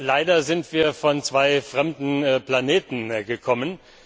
Leider sind wir von zwei fremden Planeten gekommen.